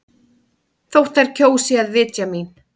Þótt þær kjósi að vitja mín.